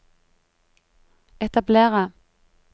etablere